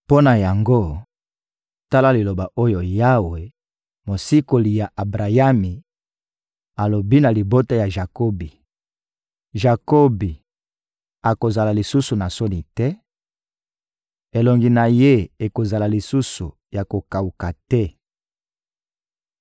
Mpo na yango, tala liloba oyo Yawe, Mosikoli ya Abrayami, alobi na libota ya Jakobi: «Jakobi akozala lisusu na soni te, elongi na ye ekozala lisusu ya kokawuka te.